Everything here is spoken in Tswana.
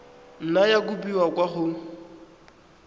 nna ya kopiwa kwa go